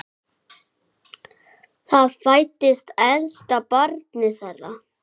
Þar fæddist elsta barn þeirra.